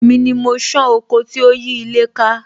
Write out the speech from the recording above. Èmi ni mo san oko tí ó yí ilé ká